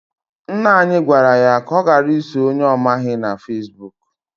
Nna ya gwara ya ka ọ ghara iso onye ọ maghị na Fesbụụk.